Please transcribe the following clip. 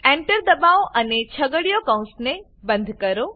Enter દબાવો અને છગડીયા કૌંસને બંધ કરો